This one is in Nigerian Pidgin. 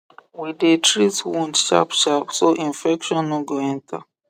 we dey treat wound sharpsharp so infection no go enter